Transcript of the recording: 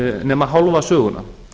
nema hálfa söguna